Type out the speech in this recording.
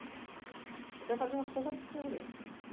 Então ele fazia umas coisas absurdas.